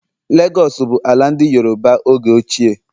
Legos bụ ala ndị Yoroba oge ochie.